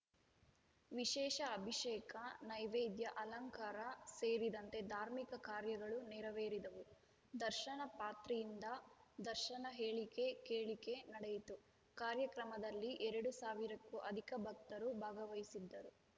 ವಿಶೇಷ ಅಭಿಷೇಕ ನೈವೇದ್ಯ ಅಲಂಕಾರ ಸೇರಿದಂತೆ ಧಾರ್ಮಿಕ ಕಾರ್ಯಗಳು ನೆರವೇರಿದವು ದರ್ಶನ ಪಾತ್ರೆ ಯಿಂದ ದರ್ಶನ ಹೇಳಿಕೆ ಕೇಳಿಕೆ ನಡೆಯಿತು ಕಾರ್ಯಕ್ರಮದಲ್ಲಿ ಎರಡು ಸಾವಿರಕ್ಕೂ ಅಧಿಕ ಭಕ್ತರು ಭಾಗವಹಿಸಿದ್ದರು